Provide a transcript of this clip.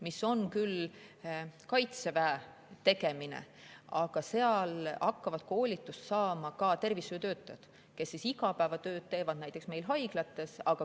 Sellega tegeleb küll Kaitsevägi, aga seal hakkavad koolitust saama ka tervishoiutöötajad, kes igapäevatööd teevad näiteks haiglates.